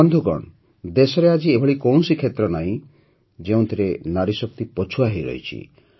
ବନ୍ଧୁଗଣ ଦେଶରେ ଆଜି ଏଭଳି କୌଣସି କ୍ଷେତ୍ର ନାହିଁ ଯେଉଁଥିରେ ନାରୀଶକ୍ତି ପଛୁଆ ହୋଇ ରହିଛି